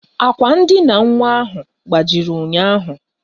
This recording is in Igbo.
Àkwà ndina nwa ahụ gbajiri ụnyaahụ